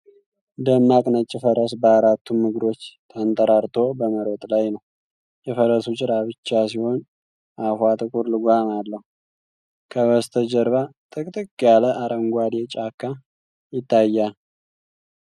ደማቅ ነጭ ፈረስ በአራቱም እግሮቹ ተንጠራርቶ በመሮጥ ላይ ነው። የፈረሱ ጭራ ብጫ ሲሆን አፏ ጥቁር ልጓም አለው። ከበስተጀርባ ጥቅጥቅ ያለ አረንጓዴ ጫካ ይታያል።